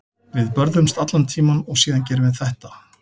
Við börðumst allan tímann og síðan gerum við þetta.